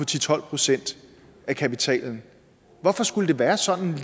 til tolv procent af kapitalen hvorfor skulle det være sådan